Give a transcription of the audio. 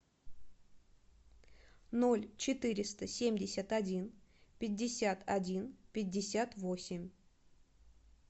ноль четыреста семьдесят один пятьдесят один пятьдесят восемь